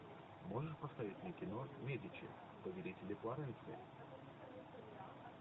можешь поставить мне кино медичи повелители флоренции